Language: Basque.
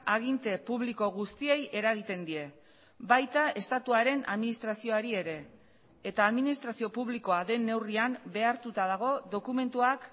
aginte publiko guztiei eragiten die baita estatuaren administrazioari ere eta administrazio publikoa den neurrian behartuta dago dokumentuak